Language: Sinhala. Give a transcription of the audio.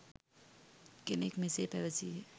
කෙනෙක් මෙසේ පැවසීය.